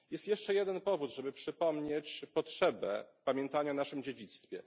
Jest jeszcze jeden powód, żeby przypomnieć potrzebę pamiętania o naszym dziedzictwie.